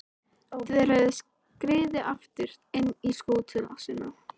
Þær höfðu skriðið aftur inn í skúta sína.